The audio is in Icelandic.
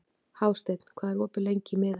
Hásteinn, hvað er opið lengi í Miðeind?